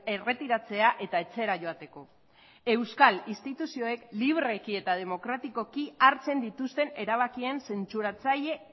erretiratzea eta etxera joateko euskal instituzioek libreki eta demokratikoki hartzen dituzten erabakien zentzuratzaile